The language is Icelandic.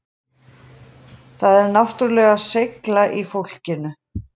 Það er náttúrulega seigla í fólkinu